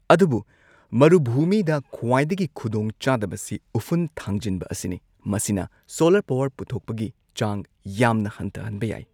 ꯑꯗꯨꯕꯨ ꯃꯔꯨꯚꯨꯃꯤꯗ ꯈ꯭ꯋꯥꯏꯗꯒꯤ ꯈꯨꯗꯣꯡ ꯆꯥꯗꯕꯁꯤ ꯎꯐꯨꯟ ꯊꯥꯡꯖꯤꯟꯕ ꯑꯁꯤꯅꯤ, ꯃꯁꯤꯅ ꯁꯣꯂꯔ ꯄꯥꯋꯔ ꯄꯨꯊꯣꯛꯄꯒꯤ ꯆꯥꯡ ꯌꯥꯝꯅ ꯍꯟꯊꯍꯟꯕ ꯌꯥꯏ꯫